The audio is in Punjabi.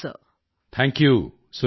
ਥੈਂਕ ਯੂ ਸੁਰੇਖਾ ਜੀ